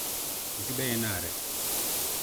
keisidai ena are